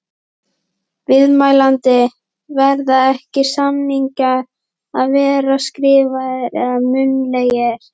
Viðmælandi: Verða ekki, samningar að vera skriflegir eða munnlegir?